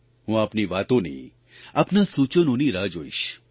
હું આપની વાતોની આપના સૂચનોની રાહ જોઇશ